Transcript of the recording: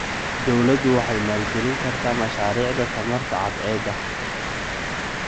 Dawladdu waxay maalgelin kartaa mashaariicda tamarta cadceedda.